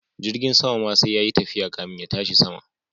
Jirgin sama ma sai yayi tafiya kafin ya tashi sama.